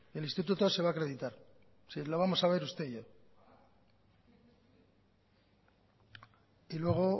el instituto se va a acreditar y lo vamos a ver usted y yo y luego